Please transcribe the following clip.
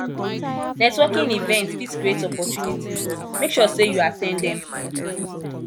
networking events fit create opportunities make sure say you at ten d dem